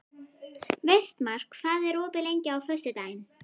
Vestmar, hvað er opið lengi á föstudaginn?